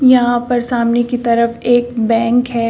यहां पर सामने की तरफ एक बैंक है।